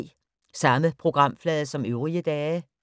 Samme programflade som øvrige dage